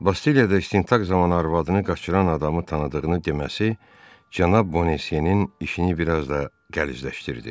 Bastiliyada istintaq zamanı arvadını qaçıran adamı tanıdığını deməsi cənab Bonasiyenin işini bir az da qəlizləşdirdi.